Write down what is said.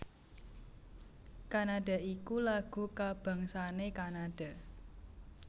Canada iku lagu kabangsané Kanada